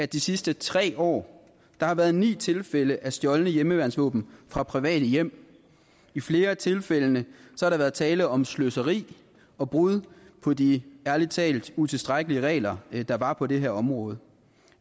de sidste tre år har været ni tilfælde af stjålne hjemmeværnsvåben fra private hjem i flere af tilfældene har der været tale om sløseri og brud på de ærlig talt utilstrækkelige regler der var på det her område